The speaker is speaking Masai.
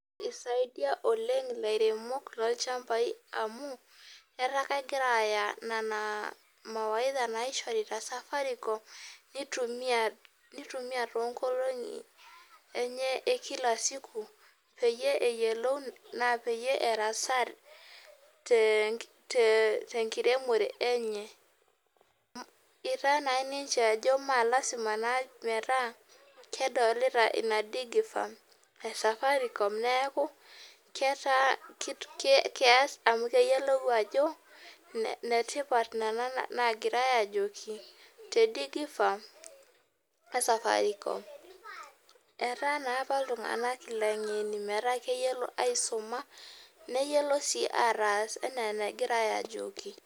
Isaidia oleng lairemok lolchambai amu etaa kegira aya nona mawaidha naishorita Safaricom nitumia tonkolongi enye ekilasiku peyie eyiolou erasaa tenkiremore enye, itaa na ninche ajo masalama metaa kedolota ina digi farm e Safaricom neaku keas amu keyiolou ajo netipat nona nagirai ajoki te digi farm e Safaricom etaa naaapa ltunganak langeni metaabkeyiolo aisuma neyiolo si ena enagira ajoki.